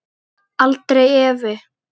Aldrei efi.